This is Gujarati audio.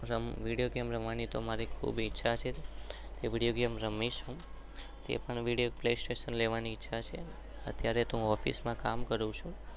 વિડીઓ ગેમ રમવાની મારી ખુબ ઈચ્છા છે.